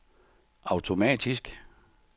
automatisk